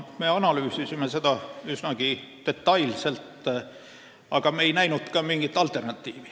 Me analüüsisime seda üsnagi detailselt, aga me ei näinud mingit alternatiivi.